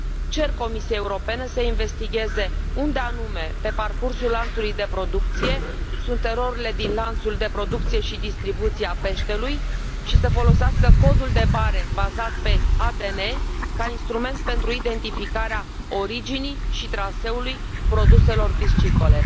Cer Comisiei Europene să investigheze unde anume pe parcursul lanțului de producție sunt erorile din lanțul de producție și distribuție a peștelui și să folosească codul de bare bazat pe ADN ca instrument pentru identificarea originii și traseului produselor piscicole.